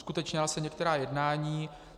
Uskutečnila se některá jednání.